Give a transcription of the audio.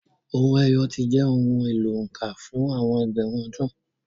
Owó ẹyọ ti jẹ́ ohun èlò òǹkà fún àwọn ẹgbẹ̀rún ọdún.